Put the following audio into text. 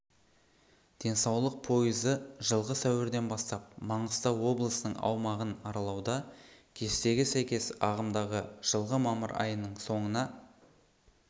денсаулық пойызы жылғы сәуірден бастап маңғыстау облысының аумағын аралауда кестеге сәйкес ағымдағы жылғы мамыр айының соңына